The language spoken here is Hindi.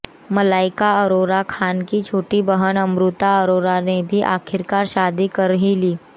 मलाइका अरोरा खान की छोटी बहन अमृता अरोरा ने भी आखिरकार शादी कर ही ली